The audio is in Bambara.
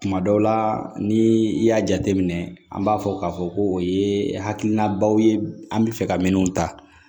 Kuma dɔw la ni i y'a jateminɛ an b'a fɔ k'a fɔ ko o ye hakilinabaw ye an bɛ fɛ ka minɛnw ta